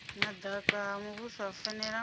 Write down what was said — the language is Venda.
madaka ha muvhuso u fanela